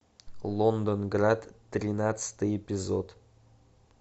лондонград тринадцатый эпизод